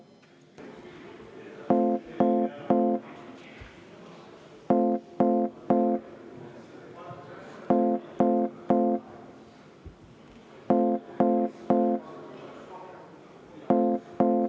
V a h e a e g